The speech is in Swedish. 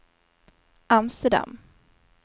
Amsterdam